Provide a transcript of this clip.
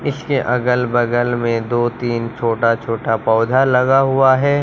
इसके अगल बगल में दो तीन छोटा छोटा पौधा लगा हुआ है।